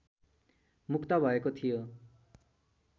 मुक्त भएको थियो